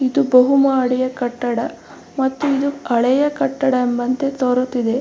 ಇದು ಬಹುಮಾಡಿಯ ಕಟ್ಟಡ ಮತ್ತೆ ಇದು ಹಳೆಯ ಕಟ್ಟಡ ಎಂಬಂತೆ ತೋರುತ್ತಿದೆ.